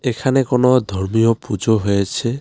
এখানে কোনো ধর্মীয় পুজো হয়েছে।